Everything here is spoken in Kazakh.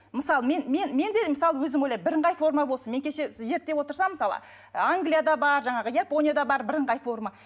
мысалы мен мен мен де мысалы өзім ойлаймын бірыңғай форма болсын мен кеше зерттеп отырсам мысалы англияда бар жаңағы японияда бар бірыңғай форма